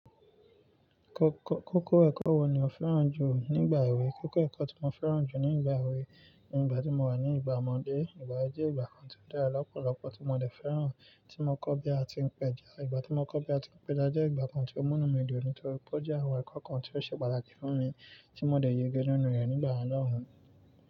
Kọ-kọ-kókó ẹ̀kọ́ wo ni ò fẹ́ràn jù nígbà èwe? Kókó ẹ̀kọ́ tí mo fẹ́ràn jù nígbà èwe, nígbà tí mo wà ní ìgbà ọmọdé, ìgbà yẹn jẹ́ ìgbà kan tí ó dára lọ́pọ̀lọ́pọ̀ tí mo dé fẹ́ràn, tí mo kọ́ bí a ti ń péja. Ìgbà tí mo kọ́ bí a ti ń péja jẹ́ ìgbà kan tí ó mú mí di òní torí pé ó jẹ́ àwọn ẹ̀kọ́ kan tí ó ṣe pàtàkì fún mi tí mo dé yege nínú rẹ̀ nígbà náà.